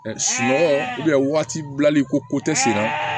Sunɔgɔ waati bilali ko ko tɛ senna